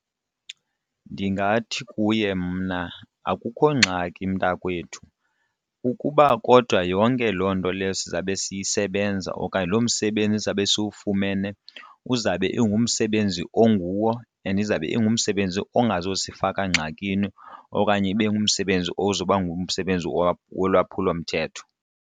Ndingathi kuye mna, akukho ngxaki mntakwethu ukuba kodwa yonke loo nto leyo siza kube siyisebenza okanye lo msebenzi zizawube sofuba uzabe ingumsebenzi onguwo and izabe ingumsebenzi ongazusifaka ngxakini okanye ibe ngumsebenzi ozoba ngumsebenzi wolwaphulomthetho.